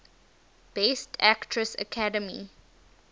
best actress academy